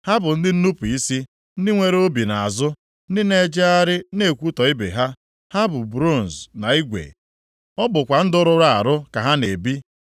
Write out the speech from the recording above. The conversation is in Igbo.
Ha bụ ndị nnupu isi, ndị nwere obi nʼazụ, ndị na-ejegharị na-ekwutọ ibe ha. Ha bụ bronz na igwe; ọ bụkwa ndụ rụrụ arụ ka ha na-ebi.